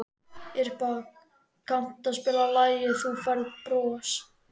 Irpa, kanntu að spila lagið „Þú Færð Bros“?